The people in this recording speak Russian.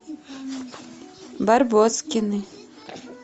барбоскины